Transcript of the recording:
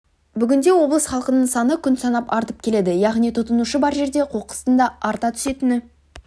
бүгінде облыс халқының саны күн санап артып келеді яғни тұтынушы бар жерде қоқыстың да арта түсетіні